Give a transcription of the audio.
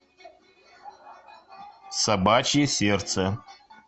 собачье сердце